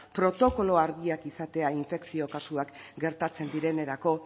protokolo argiak izatea infekzio kasuak gertatzen direnerako